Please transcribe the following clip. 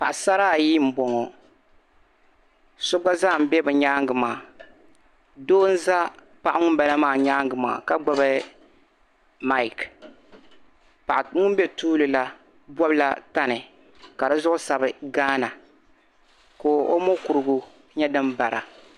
Paɣisara ayi m-boŋo. So gba zaa m-be bi nyaanga maa. Doo nza paɣa ŋun bala maa nyaanga maa ka gbibi mic. Paɣa ŋun be tuuli la bɔbila tani ka di zuɣu sabi Ghana, ko' mokurugu nyɛ din bara.